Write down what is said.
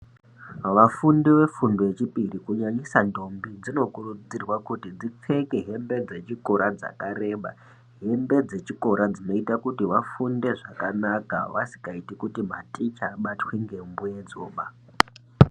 Vafundi vefundo yechipiri kunyanyisa ndombi dzinokurudzirwa kuti dzipfeke hembe dzechikora dzakareba. Hembe dzechikora dzinoita kuti vafunde zvakanaka vasikaiti kuti maticha abatwe ngemuedzoba.